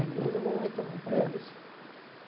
É, depois eu vou retomar É um pouco isso.